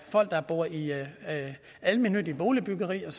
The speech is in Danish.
folk der bor i almennyttigt boligbyggeri der